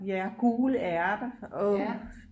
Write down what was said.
Ja gule ærter åh